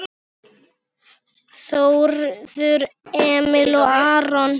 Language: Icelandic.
Þórður Emil og Aron